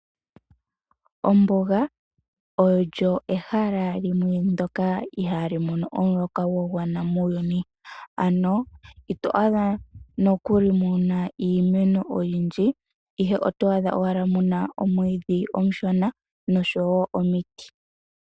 Ombuga olyo ehala limwe ndoka ihaali mono omuloka gwa gwana muuyuni, ano ito adha nokuli muna iimeno oyindji, ihe otwaadha owala muna omwiidhi omushona nosho wo omiti.